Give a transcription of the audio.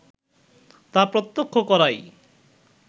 তা প্রত্যক্ষ করাই